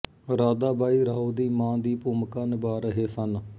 ਰਾਧਾਬਾਈ ਰਾਓ ਦੀ ਮਾਂ ਦੀ ਭੂਮਿਕਾ ਨਿਭਾ ਰਹੇ ਸਨ